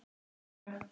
Harpa frænka.